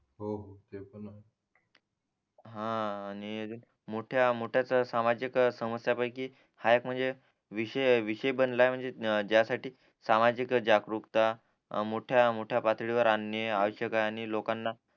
हा आणि मोठ्या मोठ्या सामाजिक समस्या पैकी हा एक म्हणजे विषय विषय बनलाय म्हणजे त्यासाठी सामाजिक जागरूकता मोठ्या मोठ्या पातडीवर आणणे आवश्यक आहे आणि लोकांना